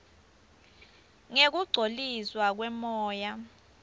ngekungcoliswa kwemoya